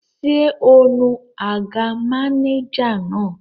Ṣé o nu àga mánéjà náà?